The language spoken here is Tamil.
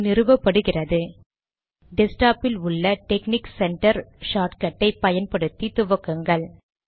அது நிறுவப்படுகிறது டெஸ்க் டாப் இல் உள்ள டெக்ஸ்னிக்ஸ் சென்டர் ஷார்ட்கட் ஐ பயன்படுத்தி துவக்குங்கள்